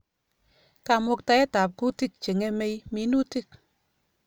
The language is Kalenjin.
Kamuktaet ab kutik Che ng'emei minutik